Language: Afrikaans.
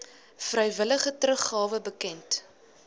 vrywillige teruggawe bekend